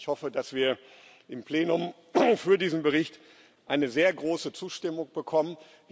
Ich hoffe, dass wir im Plenum für diesen Bericht eine sehr große Zustimmung bekommen.